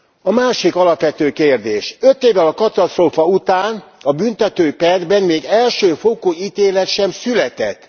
A másik alapvető kérdés öt évvel a katasztrófa után a büntetőperben még első fokú ítélet sem született.